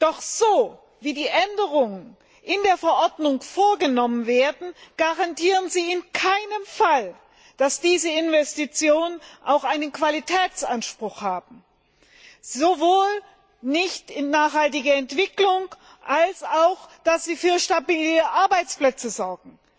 Doch so, wie die Änderungen in der Verordnung vorgenommen werden, garantieren sie in keinem Fall, dass diese Investitionen auch einen Qualitätsanspruch haben, da sie weder für nachhaltige Entwicklung noch für stabile Arbeitsplätze sorgen.